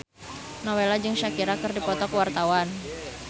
Nowela jeung Shakira keur dipoto ku wartawan